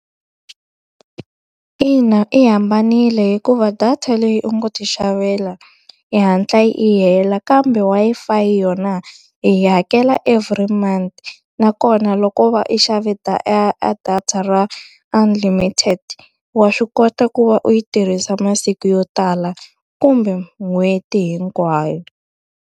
Ina yi hambanile hikuva data leyi u ngo ti xavela yi hatla yi hela kambe, Wi-Fi yona hi yi hakela every month. Nakona loko va i xave a data ra unlimited, wa swi kota ku va u yi tirhisa masiku yo tala kumbe n'hweti hinkwayo.